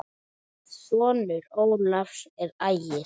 Sonur Ólafs er Ægir.